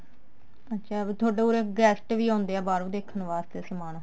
ਅੱਛਾ ਵੀ ਤੁਹਾਡੇ ਉਰੇ guest ਵੀ ਆਉਂਦੇ ਆ ਬਾਹਰੋਂ ਦੇਖਣ ਵਾਸਤੇ ਸਮਾਨ